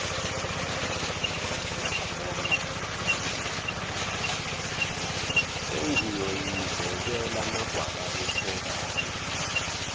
sengiyoyizekela amagwababa echobana